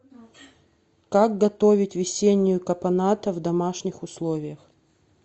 как готовить весеннюю капоната в домашних условиях